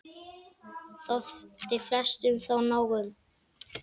Þótti flestum þó nóg um.